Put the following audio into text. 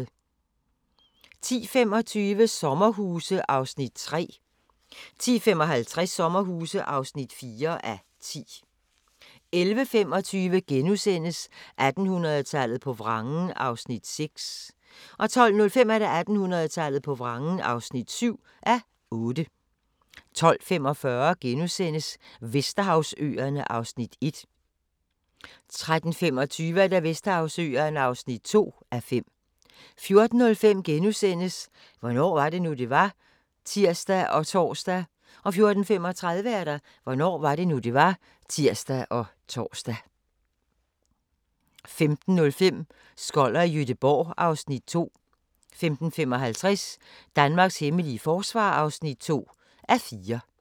10:25: Sommerhuse (3:10) 10:55: Sommerhuse (4:10) 11:25: 1800-tallet på vrangen (6:8)* 12:05: 1800-tallet på vrangen (7:8) 12:45: Vesterhavsøerne (1:5)* 13:25: Vesterhavsøerne (2:5) 14:05: Hvornår var det nu, det var? *(tir og tor) 14:35: Hvornår var det nu, det var? (tir og tor) 15:05: Skoller i Gøteborg (Afs. 2) 15:55: Danmarks hemmelige forsvar (2:4)